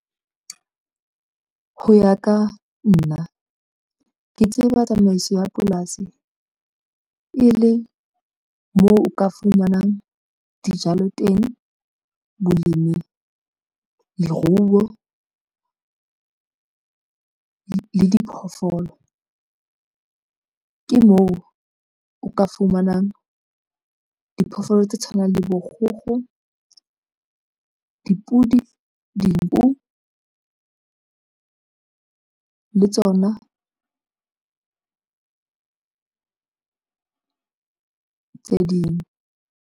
Ho ya ka nna ke tseba tsamaiso ya polasi e le moo o ka fumanang dijalo teng bolemi leruo le diphoofolo ke moo o ka fumanang diphoofolo tse tshwanang le bo kgokgo, dipodi, dinku le tsona tse ding.